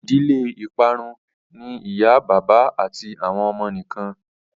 ìdílé iparun ní ìyá bàbá àti àwọn ọmọ nìkàn